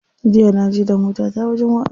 Jiya na je da motata wajen wa'azi.